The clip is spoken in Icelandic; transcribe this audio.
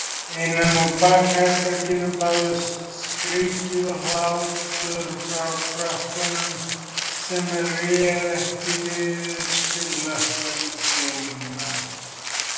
Innan úr bakherberginu bárust skríkjur og hlátrar frá krökkunum sem réðu ekki við tilhlökkun sína.